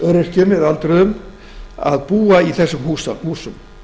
öryrkjum og öldruðum að búa í þessum húsum